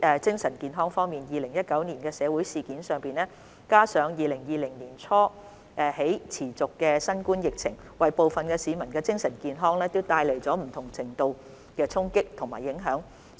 精神健康方面 ，2019 年的社會事件，加上自2020年年初起持續的新冠疫情，為部分市民的精神健康帶來不同程度的衝擊和影響。